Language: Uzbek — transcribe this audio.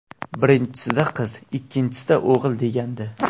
Birinchisida qiz, ikkinchisida o‘g‘il degandi.